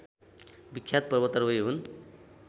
विख्यात पर्वतारोही हुन्।